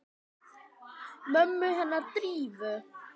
Mömmu hennar Drífu?